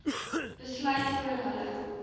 besluit oor hulle